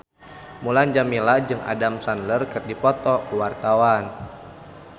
Mulan Jameela jeung Adam Sandler keur dipoto ku wartawan